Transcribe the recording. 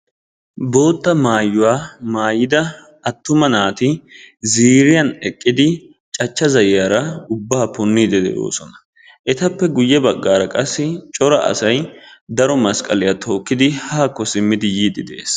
Bootta maayuwa maayida attuma naati ziiriyan eqqidi cachcha zayyiyara xurumbbaa punniiddi de'oosona. Etappe guyye baggaara qassi cora asayi daro masqqaliya tookkidi haakko simmidi yiiddi de'es.